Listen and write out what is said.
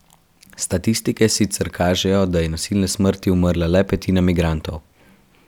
Statistike sicer kažejo, da je nasilne smrti umrla le petina migrantov.